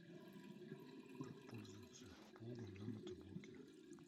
как пользоваться плугом на мотоблоке